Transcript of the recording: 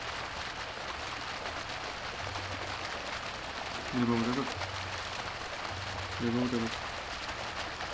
либо вот этот либо вот этот